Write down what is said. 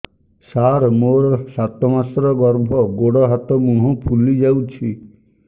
ସାର ମୋର ସାତ ମାସର ଗର୍ଭ ଗୋଡ଼ ହାତ ମୁହଁ ଫୁଲି ଯାଉଛି